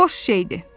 Boş şeydir.